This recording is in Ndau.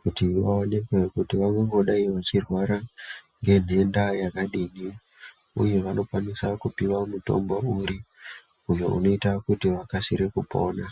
kuti vaoneke kuti vangangogai vechirwara ngenhenda yakadini, uye vanokwanisa kupuwa mutombo uri, uyo unoita kuti vakasire kupona.